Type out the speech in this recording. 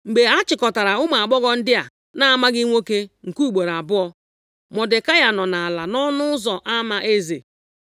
Mgbe a chịkọtara ụmụ agbọghọ ndị a na-amaghị nwoke nke ugboro abụọ, Mọdekai nọ ala nʼọnụ ụzọ ama eze.